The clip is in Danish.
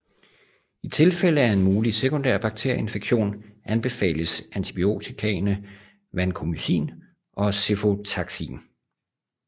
I tilfælde af en mulig sekundær bakterieinfektion anbefales antibiotikaene vancomycin og cefotaxim